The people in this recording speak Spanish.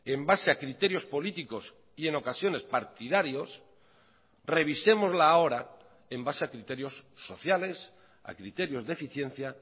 en base a criterios políticos y en ocasiones partidarios revisémosla ahora en base a criterios sociales a criterios de eficiencia